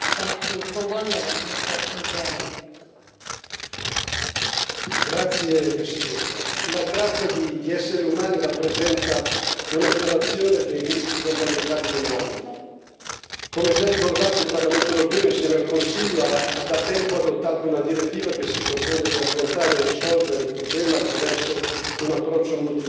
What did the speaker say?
Signora Presidente, onorevoli colleghi, la tratta di esseri umani rappresenta una violazione dei diritti fondamentali dell'uomo. Come già ricordato, il Parlamento europeo, insieme al Consiglio, ha da tempo adottato una direttiva che si propone di affrontare e risolvere il problema attraverso un approccio multilaterale,